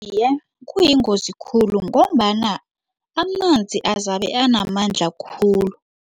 Iye, kuyingozi khulu ngombana amanzi azabe anamandla khulu.